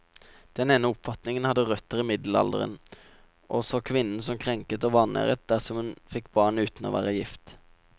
Den ene oppfatningen hadde røtter i middelalderen, og så kvinnen som krenket og vanæret dersom hun fikk barn uten å være gift.